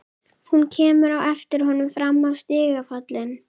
Hún kemur á eftir honum fram á stigapallinn.